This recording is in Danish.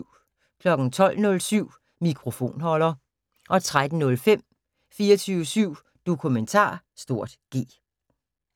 12:07: Mikrofonholder 13:05: 24syv Dokumentar (G)